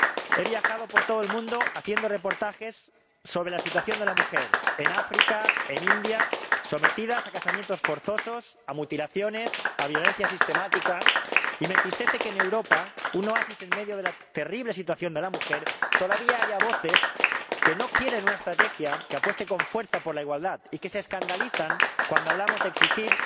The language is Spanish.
He viajado por todo el mundo haciendo reportajes sobre la situación de la mujer en África, en la India mujeres sometidas a casamientos forzosos, a mutilaciones, a violencia sistemática. Y me entristece que en Europa, un oasis en medio de la terrible situación de la mujer, todavía haya voces que no quieren una estrategia que apueste con fuerza por la igualdad y que se escandalizan cuando hablamos de exigir